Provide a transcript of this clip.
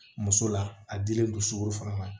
Muso la a dilen don sukɔro fana na